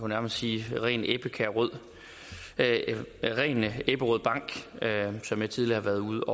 nærmest sige ren ebberød ebberød bank som jeg tidligere har været ude